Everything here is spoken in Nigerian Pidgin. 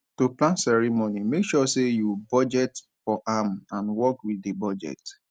to plan ceremony make sure say you budget for am and work with di budget